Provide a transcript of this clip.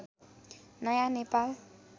नयाँ नेपाल